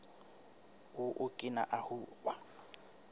o okina ahu